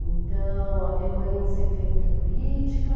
Então, a minha mãe sempre fez muita política.